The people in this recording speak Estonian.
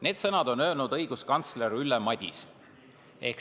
Need sõnad on öelnud õiguskantsler Ülle Madise.